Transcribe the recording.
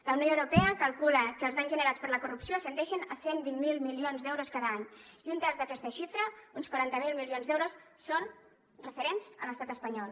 la unió europea calcula que els danys generats per la corrupció ascendeixen a cent i vint miler milions d’euros cada any i un terç d’aquesta xifra uns quaranta miler milions d’euros són referents a l’estat espanyol